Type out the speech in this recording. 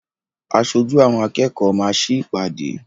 Aṣojú àwọn akẹ́kọ̀ọ́ máa sí ìpàdé.